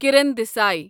Kiran Desai